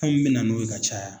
fɛn min bɛ na n'o ye ka caya